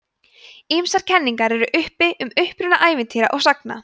ýmsar kenningar eru uppi um uppruna ævintýra og sagna